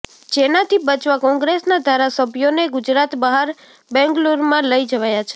જેનાથી બચવા કોંગ્રેસના ધારાસભ્યોને ગુજરાત બહાર બેંગલુરુમાં લઈ જવાયા છે